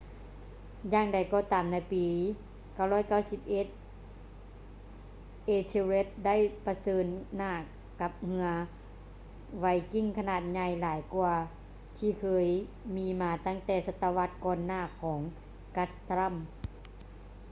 ຢ່າງໃດກໍຕາມໃນປີ 991 ethelred ໄດ້ປະເຊີນຫນ້າກັບເຮືອໄວກິ້ງຂະໜາດໃຫຍ່ຫຼາຍກ່ວາທີ່ເຄີຍມີມາຕັ້ງແຕ່ສະຕະວັດກ່ອນໜ້າຂອງ guthrum